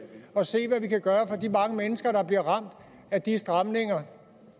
og se hvad vi kan gøre for de mange mennesker der bliver ramt af de stramninger